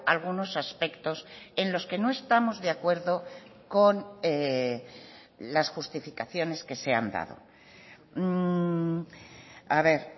algunos aspectos en los que no estamos de acuerdo con las justificaciones que se han dado a ver